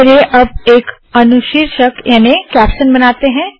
चलिए अब एक अनुशीर्षक याने के कैप्शन बनाते है